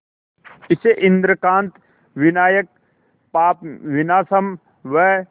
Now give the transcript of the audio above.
इसे इंद्रकांत विनायक पापविनाशम व